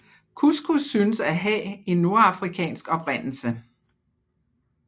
Couscous synes at have en nordafrikansk oprindelse